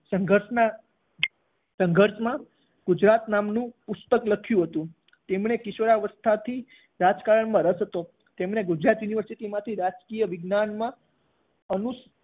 સંઘર્ષના સંઘર્ષમાં ગુજરાત નામનું પુસ્તક લખ્યું હતું. તેમને કિશોરાવસ્થાથી રાજકારણમાં રસ હતો. તેમણે ગુજરાત યુનિવર્સિટીમાંથી રાજકીય વિજ્ઞાનમાં અનુસ